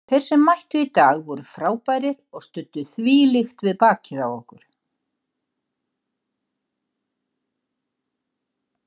Þeir sem mættu í dag voru frábærir og studdu þvílíkt við bakið á okkur.